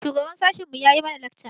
Shugaban sashin mu yayi mana lakca.